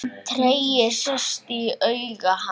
Tregi sest í augu hans.